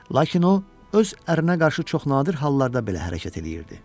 Lakin o, öz ərinə qarşı çox nadir hallarda belə hərəkət eləyirdi.